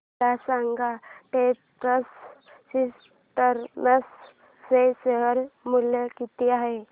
मला सांगा TechPro systems चे शेअर मूल्य किती आहे